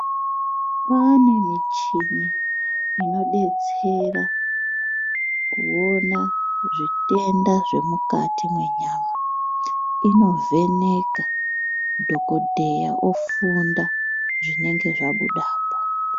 Kune michini inodetsera kuona zvitenda zvemukati mwenyama. Inovheneka, dhokodheya ofunda zvinenge zvabudapo.